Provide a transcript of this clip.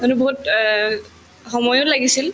সেইটো বহুত অ সময়ো লাগিছিল